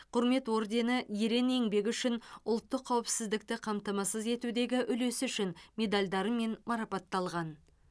құрмет ордені ерен еңбегі үшін ұлттық қауіпсіздікті қамтамасыз етудегі үлесі үшін медальдарымен марапатталған